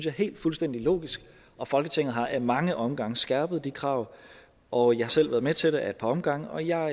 er helt fuldstændig logisk og folketinget har ad mange omgange skærpet de krav og jeg har selv været med til det ad et par omgange og jeg